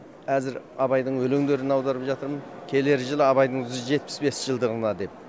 әзір абайдың өлеңдерін аударып жатырмын келер жылы абайдың жүз жетпіс бес жылдығына деп